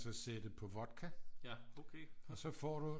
Så sætte på vodka og så får du